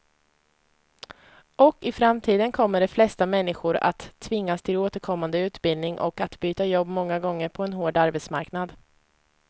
Och i framtiden kommer de flesta människor att tvingas till återkommande utbildning och att byta jobb många gånger på en hård arbetsmarknad.